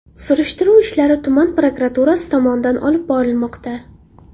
Surishtiruv ishlari tuman prokuraturasi tomonidan olib borilmoqda.